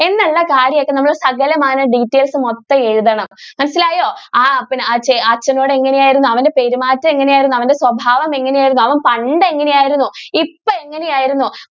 എന്നുള്ള കാര്യം ഒക്കെ നമ്മൾ സകലമാന details മൊത്തം എഴുതണം മനസ്സിലായോ? അവൻ അച്ച അച്ഛനോട് എങ്ങനെ ആയിരുന്നു അവന്റെ പെരുമാറ്റം എങ്ങനെ ആയിരുന്നു അവൻ്റെ സ്വഭാവം എങ്ങനെ ആയിരുന്നു അവൻ പണ്ട് എങ്ങനെ ആയിരുന്നു ഇപ്പൊ എങ്ങനെ ആയിരുന്നു.